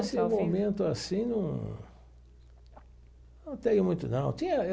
Nesse momento assim, não não tenho muito, não tinha.